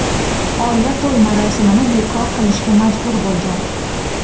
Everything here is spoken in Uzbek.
Oila to‘y marosimini bekor qilishga majbur bo‘lgan.